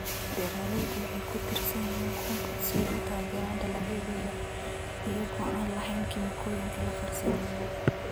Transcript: Beeraleydu waxay ku tiirsan yihiin compost si ay u taageeraan dalagyadooda iyaga oo aan lahayn kiimikooyinka la farsameeyey.